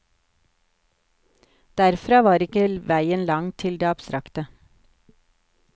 Derfra var ikke veien lang til det abstrakte.